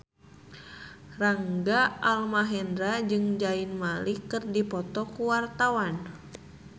Rangga Almahendra jeung Zayn Malik keur dipoto ku wartawan